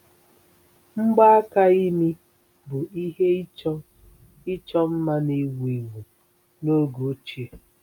Mgbaaka imi bụ ihe ịchọ ịchọ mma na-ewu ewu n'oge ochie.